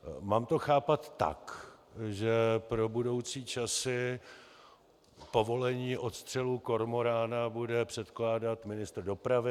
Mám to chápat tak, že pro budoucí časy povolení odstřelu kormorána bude předkládat ministr dopravy?